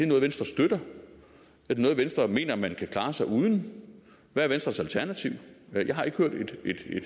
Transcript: noget venstre støtter er det noget venstre mener man kan klare sig uden hvad er venstres alternativ jeg har ikke hørt et